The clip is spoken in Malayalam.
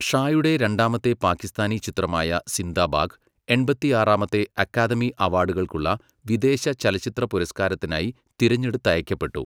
ഷായുടെ രണ്ടാമത്തെ പാകിസ്ഥാനി ചിത്രമായ 'സിന്ദാ ഭാഗ്', എൺപത്തിയാറാമത്തെ അക്കാദമി അവാർഡുകൾക്കുള്ള വിദേശ ചലച്ചിത്രപുരസ്കാരത്തിനായി തിരഞ്ഞെടുത്തയയ്ക്കപ്പെട്ടു.